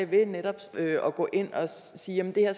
ved netop at gå ind og sige at det her